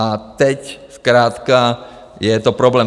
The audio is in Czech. A teď zkrátka je to problém.